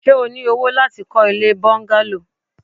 Ṣé o ní owó láti kọ́ ilée bọ́ńgálò?